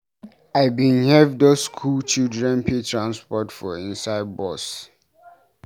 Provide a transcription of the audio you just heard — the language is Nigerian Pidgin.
I bin help those skool children pay transport for inside bus.